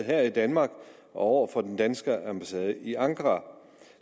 her i danmark og over for den danske ambassade i ankara